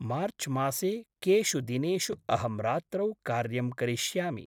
मार्च्मासे केषु दिनेषु अहं रात्रौ कार्यं करिष्यामि?